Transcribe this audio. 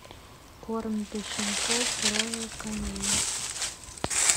корм для щенков роял канин